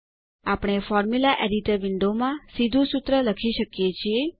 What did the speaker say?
આપણે formula editor window માં સીધું સૂત્ર લખી શકીએ છીએ